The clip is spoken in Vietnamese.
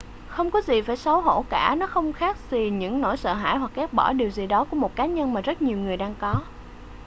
không có gì phải xấu hổ cả nó không khác gì những nỗi sợ hãi hoặc ghét bỏ điều gì đó của một cá nhân mà rất nhiều người đang có